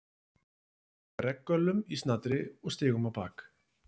Við klæddumst regngöllum í snatri og stigum á bak.